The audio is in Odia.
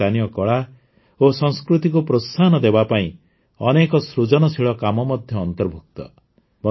ଏଥିରେ ସ୍ଥାନୀୟ କଳା ଓ ସଂସ୍କୃତିକୁ ପ୍ରୋତ୍ସାହନ ଦେବା ପାଇଁ ଅନେକ ସୃଜନଶୀଳ କାମ ମଧ୍ୟ ଅନ୍ତର୍ଭୁକ୍ତ